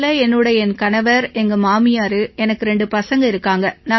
எங்க வீட்டில என்னோட என் கணவர் எங்க மாமியார் எங்க ரெண்டு பசங்க இருக்காங்க